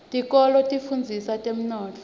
tikolwa tifundzisa temnotfo